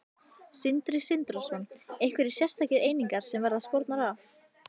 Sindri Sindrason: Einhverjar sérstakar einingar sem verða skornar af?